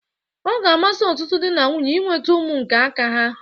Ọ ga-amasi ọtụtụ dị na nwunye inweta ụmụ nke aka ha.